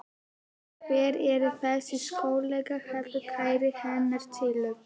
Hver er þessi svokallaði kærasti hennar Sillu?